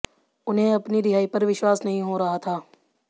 उन्हें अपनी रिहाई पर विश्वास नहीं हो रहा था